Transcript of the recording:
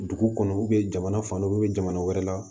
Dugu kɔnɔ jamana fan dɔ jamana wɛrɛ la